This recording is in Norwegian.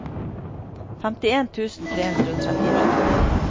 femtien tusen tre hundre og trettini